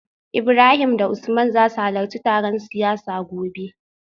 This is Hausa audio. Ibrahim da Usman za su halarci taron siyasa gobe